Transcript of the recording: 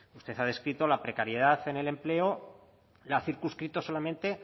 usted ha descrito la precariedad en el empleo la ha circunscrito solamente